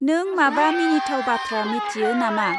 नों माबा मिनिथाव बाथ्रा मिथियो ना मा?